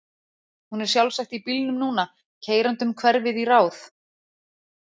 Hún er sjálfsagt í bílnum núna, keyrandi um hverfið í ráð